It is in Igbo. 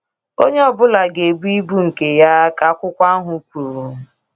“ Onye ọ bụla ga - ebu ibu nke ya. ”ka akwụkwo ahụ kwuru